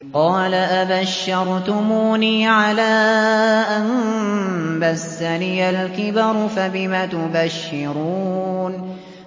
قَالَ أَبَشَّرْتُمُونِي عَلَىٰ أَن مَّسَّنِيَ الْكِبَرُ فَبِمَ تُبَشِّرُونَ